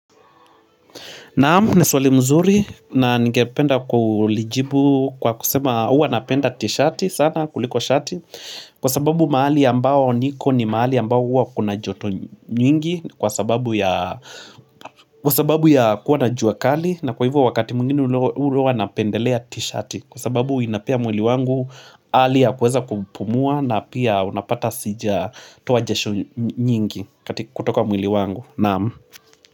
Naam, ni suali mzuri na ningependa kulijibu kwa kusema huwa napenda tishati sana kuliko shati Kwa sababu mahali ambao niko ni mahali ambao huwa kuna joto nyingi Kwa sababu ya kuwa na jua kali na kwa hivyo wakati mwingine huwa napendelea tishati Kwa sababu inapea mwili wangu hali ya kuweza kupumua na pia unapata sijatoa jasho nyingi kutoka mwili wangu Naam.